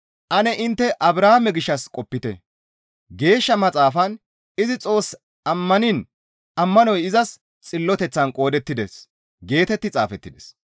Ane intte Abrahaame gishshas qopite; geeshsha Maxaafan, «Izi Xoos ammaniin ammanoy izas xilloteththan qoodettides» geetetti xaafettides.